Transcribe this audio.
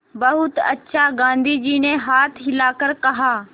बहुत अच्छा गाँधी जी ने हाथ हिलाकर कहा